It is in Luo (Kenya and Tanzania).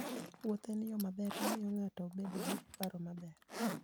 Wuoth en yo maber mar miyo ng'ato obed gi paro maber.